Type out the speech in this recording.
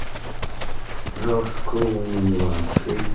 джордж клуни младший